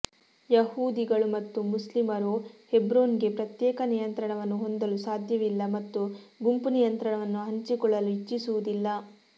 ಯಹೂದಿಗಳು ಮತ್ತು ಮುಸ್ಲಿಮರು ಹೆಬ್ರೋನ್ಗೆ ಪ್ರತ್ಯೇಕ ನಿಯಂತ್ರಣವನ್ನು ಹೊಂದಲು ಸಾಧ್ಯವಿಲ್ಲ ಮತ್ತು ಗುಂಪು ನಿಯಂತ್ರಣವನ್ನು ಹಂಚಿಕೊಳ್ಳಲು ಇಚ್ಛಿಸುವುದಿಲ್ಲ